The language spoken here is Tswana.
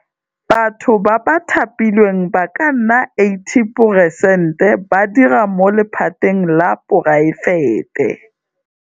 Batho ba ba thapilweng ba ka nna 80 peresente ba dira mo lephateng la poraefete.